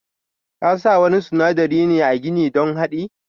Kasa wani sunadari ne a gini don hadi.